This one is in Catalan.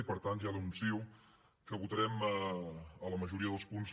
i per tant ja li anuncio que votarem a la majoria dels punts